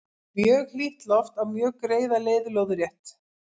mjög hlýtt loft á mjög greiða leið lóðrétt